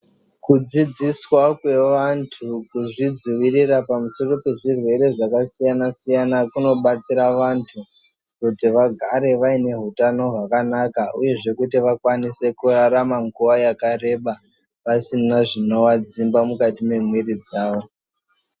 Kudzidziswa kwevantu kuzvidzivirira pamusoro pezvirwere zvakasiyana siyana kunobatsira vantu kuti vagare vaine hutano hwakanaka uyezve kuti vakwanise kurarama nguva yakareba vasina zvinovadzimba mukati memwiri dzawo